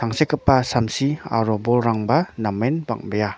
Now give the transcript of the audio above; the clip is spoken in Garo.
tangsekgipa samsi aro bolrangba namen bang·bea.